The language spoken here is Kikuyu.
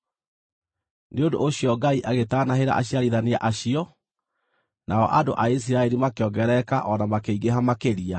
Nĩ ũndũ ũcio Ngai agĩgĩtanahĩra aciarithania acio, nao andũ a Isiraeli makĩongerereka o na makĩingĩha makĩria.